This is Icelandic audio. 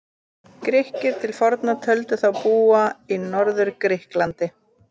Grikkir til forna töldu þá búa í Norður-Grikklandi.